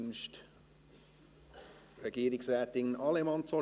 Wünscht Regierungsrätin Allemann das Wort?